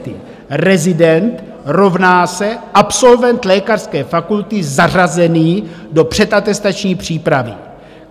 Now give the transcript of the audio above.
Rezident rovná se absolvent lékařské fakulty zařazený do předatestační přípravy.